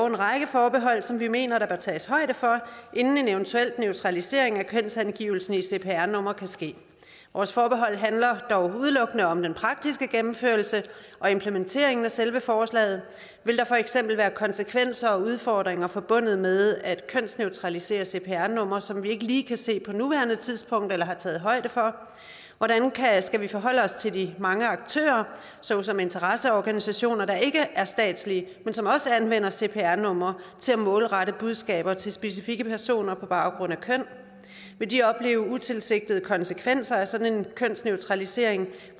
en række forbehold som vi mener der bør tages højde for inden en eventuel neutralisering af kønsangivelsen i cpr nummeret kan ske vores forbehold handler dog udelukkende om den praktiske gennemførelse og implementeringen af selve forslaget vil der for eksempel være konsekvenser og udfordringer forbundet med at kønsneutralisere cpr numre som vi ikke lige kan se på nuværende tidspunkt eller har taget højde for hvordan skal vi forholde os til de mange aktører såsom interesseorganisationer der ikke er statslige men som også anvender cpr numre til at målrette budskaber til specifikke personer på baggrund af køn vil de opleve utilsigtede konsekvenser af sådan en kønsneutralisering